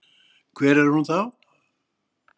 Hver er hún þá?